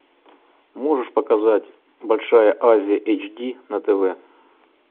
можешь показать большая азия эйч ди на тв